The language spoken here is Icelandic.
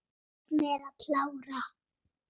Lof mér að klára.